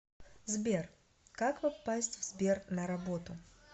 сбер как попасть в сбер на работу